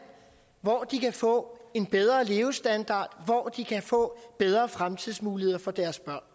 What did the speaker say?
hvor de kan få en bedre levestandard hvor de kan få bedre fremtidsmuligheder for deres børn